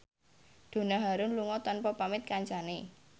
Donna Harun lunga tanpa pamit kancane